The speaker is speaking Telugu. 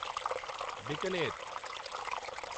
బికనేర్